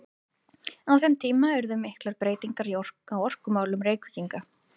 Á þeim tíma urðu miklar breytingar á orkumálum Reykvíkinga.